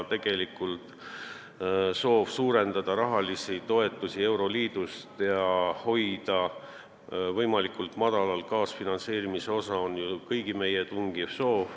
Tegelikult on meil ju kõigil suur soov saada euroliidust suuremaid toetusi ja hoida kaasfinantseerimise osa võimalikult väike.